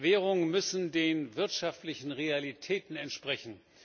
Währungen müssen den wirtschaftlichen Realitäten entsprechen.